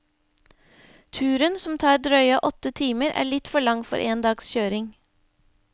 Turen, som tar drøye åtte timer, er litt for lang for én dags kjøring.